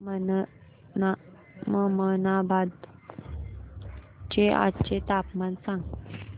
ममनाबाद चे आजचे तापमान सांग